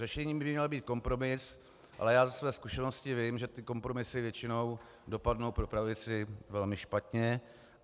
Řešením by měl být kompromis, ale já ze své zkušenosti vím, že ty kompromisy většinou dopadnou pro pravici velmi špatně.